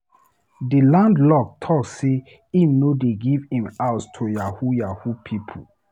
Di landlord talk sey im no dey give him house to yahoo yahoo pipo.